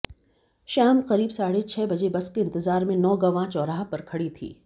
शाम करीब साढ़े छह बजे बस के इंतजार में नौगवां चौराहा पर खड़ी थी